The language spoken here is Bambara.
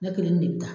Ne kelen de bɛ taa